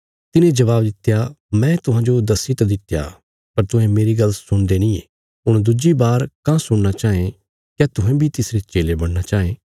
तिने जबाब दित्या मैं तुहांजो दस्सी त दित्या पर तुहें मेरी गल्ल सुणदे नींये हुण दुज्जी बार काँह सुणना चांये क्या तुहें बी तिसरे चेले बणना चांये